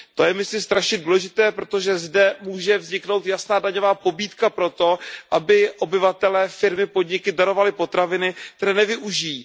To je myslím strašně důležité, protože zde může vzniknout jasná daňová pobídka proto, aby obyvatelé, firmy, podniky darovali potraviny, které nevyužijí.